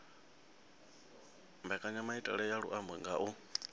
mbekanyamaitele ya luambo nga u